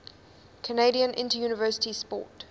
canadian interuniversity sport